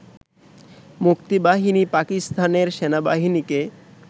মুক্তিবাহিনী পাকিস্তানের সেনাবাহিনীকে